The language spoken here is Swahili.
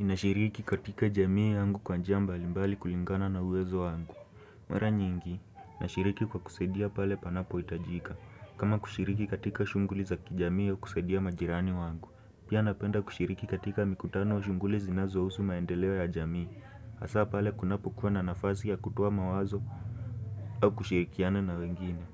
Ninashiriki katika jamii yangu kwa njia mbali mbali kulingana na uwezo wangu Mara nyingi, nashiriki kwa kusaidia pale panapo hitajika kama kushiriki katika shughli za kijamii ya kusaidia majirani wangu Pia napenda kushiriki katika mikutano wa shughuli zinazo husu maendeleo ya jamii Hasa pale kunapo kuwa na nafasi ya kutoa mawazo au kushirikiana na wengine